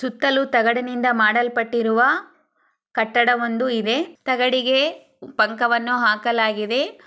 ಸುತಾಲ್ಲೂ ತಗಡಿನಿಂದ ಮಾಡ್ಲಾ ಪಟ್ಟಿರುವ ಕಟ್ಟಡ ಒಂದು ಇದೆ ತಗಡಿಗೆ ಪಕ್ಕವನು ಹಾಕಲಾಗಿವೆ.